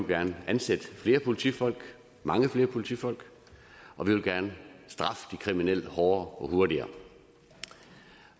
gerne ansætte flere politifolk mange flere politifolk og vi vil gerne straffe de kriminelle hårdere og hurtigere